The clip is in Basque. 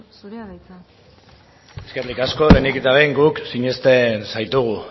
zurea da hitza eskerrik asko lehenik eta behin guk sinisten zaitugu